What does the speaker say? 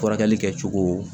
Furakɛli kɛcogo